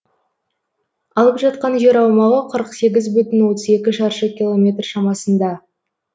алып жатқан жер аумағы қырық сегіз бүтін отыз екі шаршы километр шамасында